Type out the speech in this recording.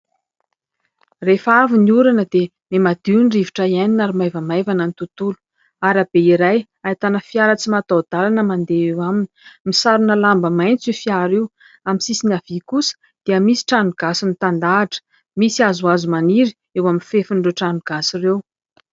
Rehefa avy ny orana dia miha madio ny rivotra hiainana ary maivamaivana ny tontolo. Arabe iray ahitana fiara tsy mahataho dalana mandeha eo aminy, misarona lamba maintso io fiara io. Amin'ny sisiny havia kosa dia misy trano gasy mitandahatra ; misy hazohazo maniry eo amin'ny fefin'ireo tranogasy ireo.